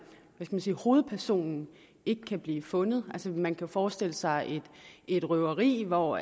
hovedpersonen ikke kan blive fundet man kan forestille sig et røveri hvor